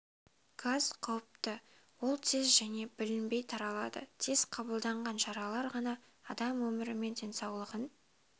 газ қауіпті ол тез және білінбей таралады тез қабылданған шаралар ғана адам өмірі мен денсаулығын